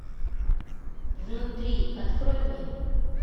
внутри открой мне